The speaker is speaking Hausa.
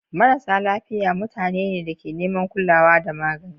Marasa lafiya: Mutanen da ke neman kulawa da magani.